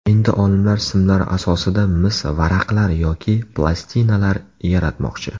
Endi olimlar simlar asosida mis varaqlar yoki plastinalar yaratmoqchi.